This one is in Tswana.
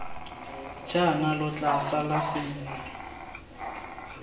jaana lo tla sala sentle